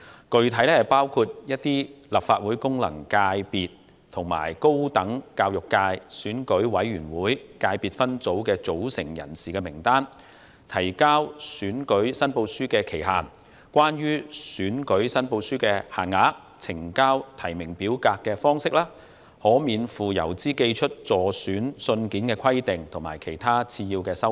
具體內容包括，某些立法會功能界及一個選舉委員會界別分組的組成人士名單、提交選舉申報書的期限、關於選舉申報書的限額、呈交提名表格的方式、可免付郵資而寄出的信件的規定，以及其他次要修訂。